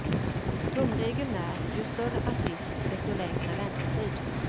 Tumregeln är ju större artist, desto längre väntetid.